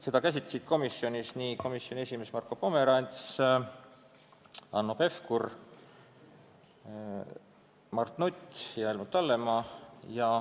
Seda käsitlesid komisjonis komisjoni esimees Marko Pomerants ning liikmed Hanno Pevkur, Mart Nutt ja Helmut Hallemaa.